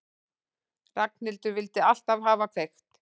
Ragnhildur vildi alltaf hafa kveikt.